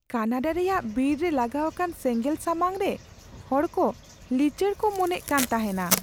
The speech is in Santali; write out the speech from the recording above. ᱠᱟᱱᱟᱰᱟ ᱨᱮᱭᱟᱜ ᱵᱤᱨ ᱨᱮ ᱞᱟᱜᱟᱣ ᱟᱠᱟᱱ ᱥᱮᱸᱜᱮᱞ ᱥᱟᱢᱟᱝᱨᱮ ᱦᱚᱲ ᱠᱚ ᱞᱤᱪᱟᱹᱲ ᱠᱚ ᱢᱚᱱᱮᱜ ᱠᱟᱱ ᱛᱟᱦᱮᱱᱟ᱾